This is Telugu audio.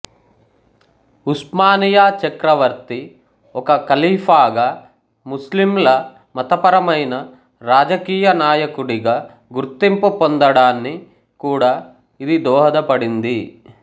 ఉస్మానియా చక్రవర్తి ఒక ఖలీఫాగా ముస్లింల మతపరమైన రాజకీయ నాయకుడిగా గుర్తింపు పొందడాని కూడా ఇది దోహదపడింది